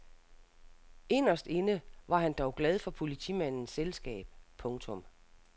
Inderst inde var han dog glad for politimandens selskab. punktum